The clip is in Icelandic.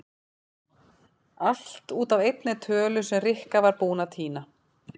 Allt út af einni tölu sem Rikka var búin að týna.